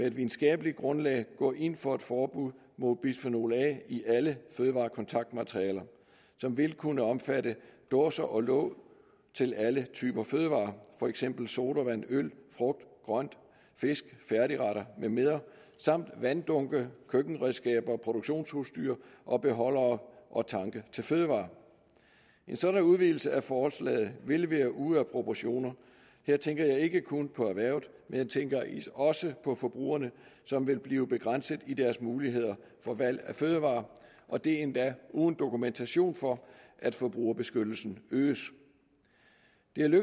et videnskabeligt grundlag gå ind for et forbud mod bisfenol a i alle fødevarekontaktmaterialer som vil kunne omfatte dåser og låg til alle typer fødevarer for eksempel sodavand øl frugt grønt fisk færdigretter med mere samt vanddunke køkkenredskaber og produktionsudstyr og beholdere og tanke til fødevarer en sådan udvidelse af forslaget vil være ude af proportioner her tænker jeg ikke kun på erhvervet men jeg tænker også på forbrugerne som vil blive begrænset i deres mulighed for valg af fødevarer og det er endda uden dokumentation for at forbrugerbeskyttelsen øges